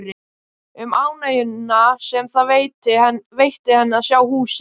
Um ánægjuna sem það veitti henni að sjá húsið.